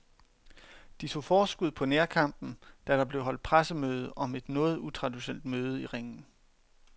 De tog forskud på nærkampen, da der blev holdt pressemøde om et noget utraditionelt møde i ringen.